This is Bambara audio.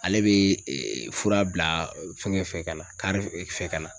Ale be ee fura bila fɛnkɛ fɛ ka na kari fɛ ka na